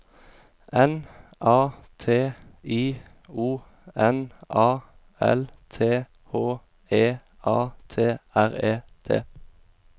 N A T I O N A L T H E A T R E T